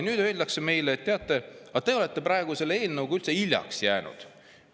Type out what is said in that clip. Nüüd öeldakse meile, et teate, te olete selle eelnõuga hiljaks jäänud.